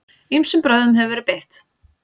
Ýmsum brögðum hefur verið beitt.